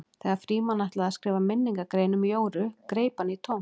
Þegar Frímann ætlaði að skrifa minningargrein um Jóru greip hann í tómt.